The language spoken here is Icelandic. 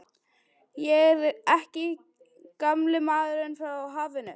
Ég er ekki gamli maðurinn frá hafinu.